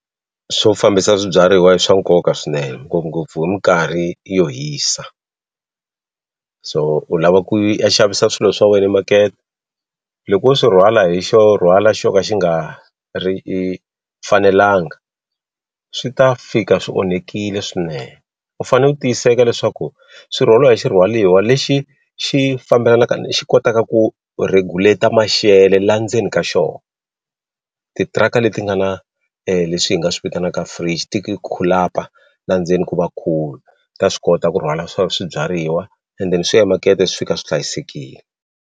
Swo fambisa swibyariwa i swa nkoka swinene ngopfungopfu hi minkarhi yo hisa so u lava ku ya xavisa swilo swa wena emakete loko wo swi rhwala hi xo rhwala xo ka xi nga ri i fanelanga swi ta fika swi onhekile swinene u fane u tiyiseka leswaku swi rhwaliwa hi xi rhwaliwa lexi xi fambelanaka ni xi kotaka ku regulate-a maxele la ndzeni ka xo titiraka leti nga na leswi hi nga swi vitanaka fridge la ndzeni ku va cool ta swi kota ku rhwala swa swibyariwa and then swi ya makete swi fika swi hlayisekile.